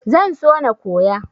Zan so na koya.